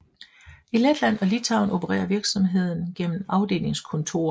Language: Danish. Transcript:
I Letland og Litauen opererer virksomheden gennem afdelingskontorer